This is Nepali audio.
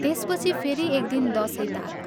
त्यसपछि फेरि एक दिन दशैं ताक।